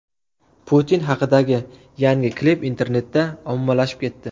Putin haqidagi yangi klip internetda ommalashib ketdi .